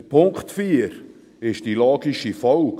Der Punkt 4 ist die logische Folge: